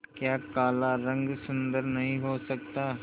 क्या काला रंग सुंदर नहीं हो सकता